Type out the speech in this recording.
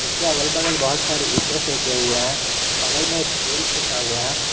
इसके अगल बगल बहुत सारे ईंटें फेंके हुए हैं बगल में एक पोल फेंका हुआ है।